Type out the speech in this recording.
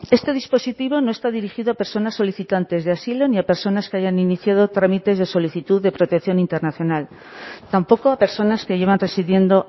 este dispositivo no está dirigido a personas solicitantes de asilo ni a personas que hayan iniciado trámites de solicitud de protección internacional tampoco a personas que llevan residiendo